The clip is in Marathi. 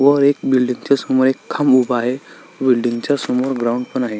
व एक बिल्डिंग च्या समोर एक खांब उभा आहे बिल्डिंग च्या समोर ग्राउंड पण आहे.